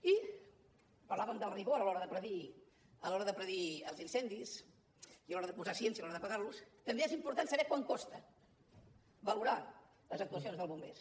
i parlàvem del rigor a l’hora de predir els incendis i a l’hora de posar ciència a l’hora d’apagar los també és important saber quant costa valorar les actuacions dels bombers